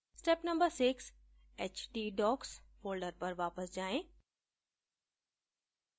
step no 6: htdocs folder पर वापस जाएँ